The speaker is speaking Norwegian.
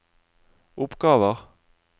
oppgaver